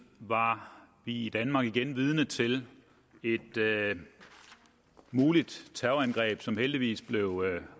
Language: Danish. var vi i danmark igen vidner til et muligt terrorangreb som heldigvis blev